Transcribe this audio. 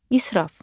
İsraf.